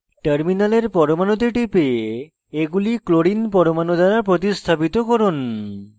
terminal পরমাণুতে টিপে এগুলি clorine cl পরমাণু দ্বারা প্রতিস্থাপিত করুন